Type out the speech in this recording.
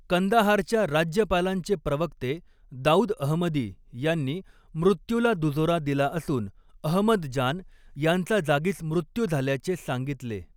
कंदाहारच्या राज्यपालांचे प्रवक्ते दाऊद अहमदी यांनी मृत्यूला दुजोरा दिला असून अहमद जान यांचा जागीच मृत्यू झाल्याचे सांगितले.